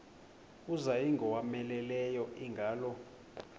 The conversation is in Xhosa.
kuza ingowomeleleyo ingalo